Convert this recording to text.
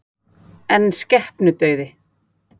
En skepnudauði?